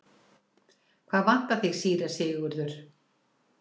Hvað vantar þig, síra Sigurður?